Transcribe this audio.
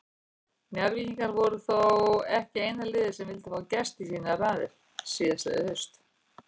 Njarðvíkingar voru þó ekki eina liðið sem vildi fá Gest í sínar raðir síðastliðið haust.